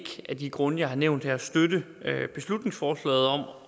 af de grunde jeg har nævnt her støtte beslutningsforslaget om